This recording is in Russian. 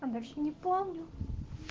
а дальше не помню